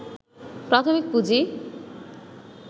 প্রাথমিক পুঁজি